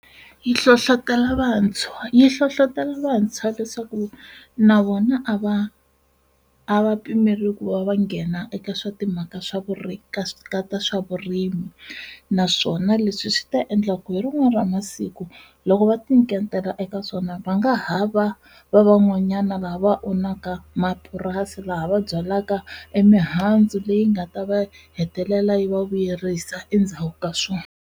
Yi hlohlotelo vantshwa yi hlohlotelo vantshwa leswaku na vona a va a va pimeriwi ku va va nghena eka swa timhaka swa vurimi swa vurimi, naswona leswi swi ta endla ku hi rin'wana ra masiku loko va tinyiketela eka swona va nga hava va van'wanyana lava owunaka mapurasi laha va byalaka emihandzu leyi nga ta va hetelela yi va vuyerisa endzhaku ka swona.